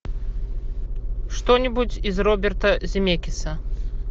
что нибудь из роберта земекиса